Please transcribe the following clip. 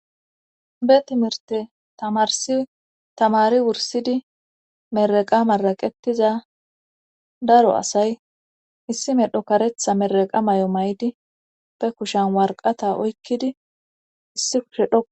Be timirte tamarsi tamari wursidi meraqa maraqetiza daro asay issi medho karetha meraqa may7o may7di be kushan warqata oykkidi issi kushe dho.